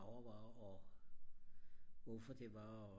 og hvorfor det var og